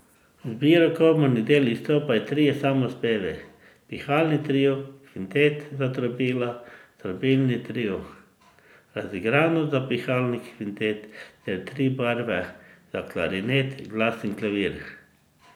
V zbiru komornih del izstopajo Trije samospevi, Pihalni trio, Kvintet za trobila, Trobilni trio, Razigranost za pihalni kvintet ter Tri barve za klarinet, glas in klavir.